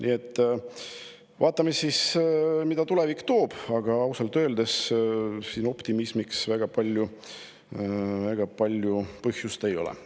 Nii et vaatame, mida tulevik toob, aga ausalt öeldes optimismiks siin väga palju põhjust ei ole.